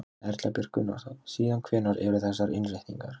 Erla Björg Gunnarsdóttir: Síðan hvenær eru þessar innréttingar?